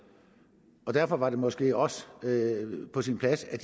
og derfor var det måske også på sin plads at